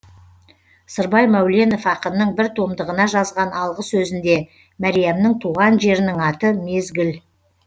сырбай мәуленов ақынның бір томдығына жазған алғы сөзінде мәриямның туған жерінің аты мезгіл